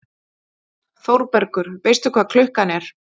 ÞÓRBERGUR: Veistu hvað klukkan er?